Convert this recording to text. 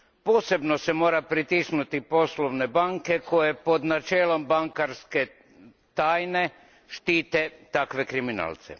Posebno se mora pritisnuti poslovne banke koje pod načelom bankarske tajne štite takve kriminalce.